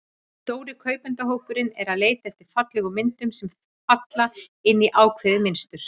Stóri kaupendahópurinn er að leita eftir fallegum myndum, sem falla inn í ákveðið mynstur.